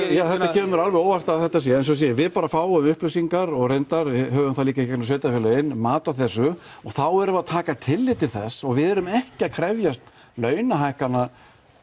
kemur mér alveg á óvart að þetta sé en eins og ég segi við bara fáum upplýsingar og reyndar höfum það líka í gegnum sveitarfélögin mat á þessu og þá erum við að taka tillit til þess og við erum ekki að krefjast launahækkana